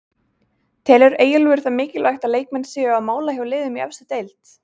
Telur Eyjólfur það mikilvægt að leikmenn séu á mála hjá liðum í efstu deild?